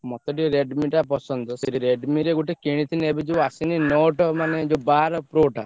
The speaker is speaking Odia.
ମତେ ଟିକେ Redmi ଟା ପସନ୍ଦ। ସେଇ Redmi ରେ ଗୋଟେ କିନିଥିନି ଏବେ ଯୋଉ ଆସିନି Note ମାନେ ଯୋଉ ବାର Pro ଟା।